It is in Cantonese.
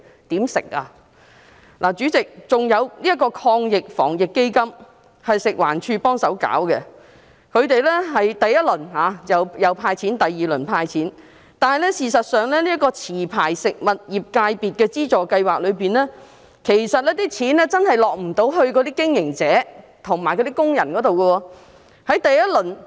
此外，主席，這個防疫抗疫基金由食環署協助推行，第一輪和第二輪基金均有"派錢"，但事實上，在持牌食物業界別資助計劃下，那些款項真的未能落在經營者和工人手上。